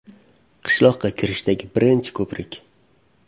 Qishloqqa kirishdagi birinchi ko‘prik.